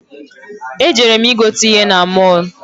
Ejere m i gote ihe na mọl.